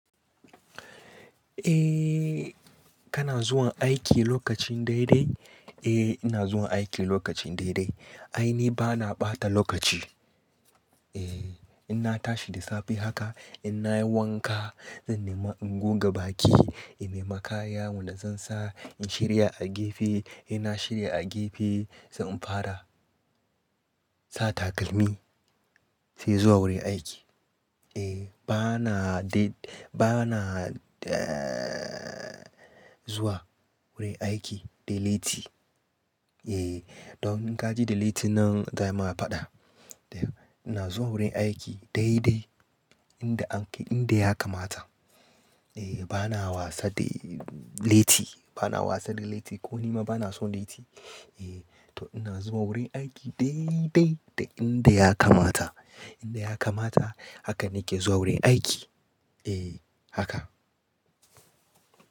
Eh, kana zuwa aiki lokacin dai-dai? Eh ina zuwa aiki lokaci dai-dai. Ai ni ba na ɓata lokaci. Eh, inna tashi da safe haka in na yi wanka, zan nemi in goga baki, in nemi kaya, wanda zan sa, in shirya a gefe, in na shirya a gefe zan fara sa takalmi sai zuwa wurin aiki. Eh ba na dai ba na zuwa wurin aiki da late. Eh, don in ka ji da late nan za ai ma faɗa. Ina zuwa wurin aiki dai-dai inda yanda ya kamata. Eh bana wasa da late, bana wasa da late ko nima bana son late. Eh to ina zuwa wurin aiki dai-dai da inda ya kamata. Inda ya kamata haka nake zuwa wurin aiki. Eh haka.